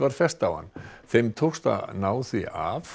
fest á hann þeim tókst að ná því af